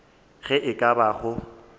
ge e ka ba go